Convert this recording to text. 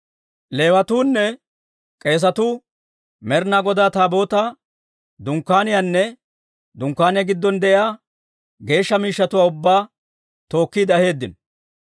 Leewatuunne k'eesatuu, Med'inaa Godaa Taabootaa, Dunkkaaniyaanne Dunkkaaniyaa giddon de'iyaa geeshsha miishshatuwaa ubbaa tookkiide aheeddino.